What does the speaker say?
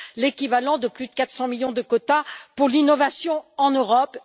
l'équivalent de plus de 400 millions de quotas pour l'innovation en Europe.